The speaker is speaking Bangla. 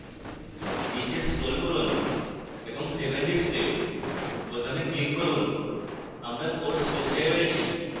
নীচে scroll করুন এবং save and display বোতামে click করুন